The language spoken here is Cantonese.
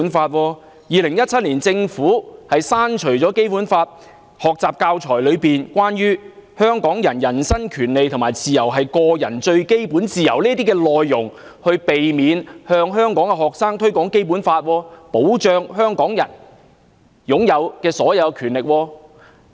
政府在2017年刪除了《基本法》學習教材內有關香港人"人身權利和自由是個人最基本自由"等內容，從而避免向香港學生推廣《基本法》保障香港人享有的各項權利。